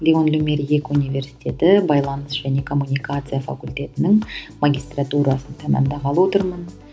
лион люмьер екі университеті байланыс және коммуникация факультетінің магистратурасын тәмамдағалы отырмын